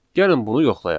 Gəlin bunu yoxlayaq.